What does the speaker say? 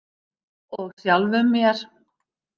Og sjálfum mér.